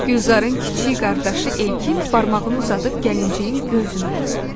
Gülzarın kiçik qardaşı Elkin barmağını uzadıb gəlinciyin gözünü basdı.